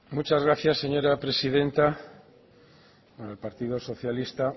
muchas gracias señora presidenta el partido socialista